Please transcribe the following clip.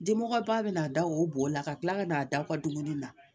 Denbɔ ba bɛ na da o bo la ka kila ka n'a da u ka dumuni na